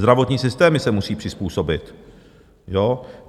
Zdravotní systémy se musí přizpůsobit.